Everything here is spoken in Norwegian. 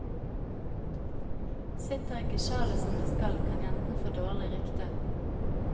Sitter ikke sjalet som det skal, kan jenten få dårlig rykte.